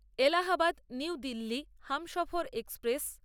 Allahabad New Delhi Humsafar express